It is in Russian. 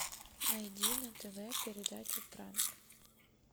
найди на тв передачу пранк